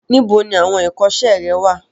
Níbo ni awọn ìkọ́sẹ́ rẹ wà?